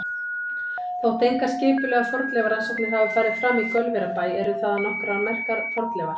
Þótt engar skipulegar fornleifarannsóknir hafi farið fram í Gaulverjabæ eru þaðan nokkrar merkar fornleifar.